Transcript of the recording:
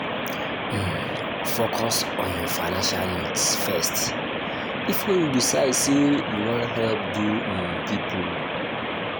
um focus on your financial needs first before you decide sey you wan help oda um pipo